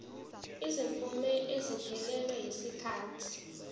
izimvume eseziphelelwe yisikhathi